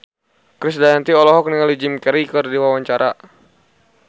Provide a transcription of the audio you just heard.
Krisdayanti olohok ningali Jim Carey keur diwawancara